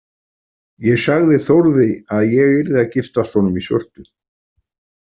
Ég sagði Þórði að ég yrði að giftast honum í svörtu.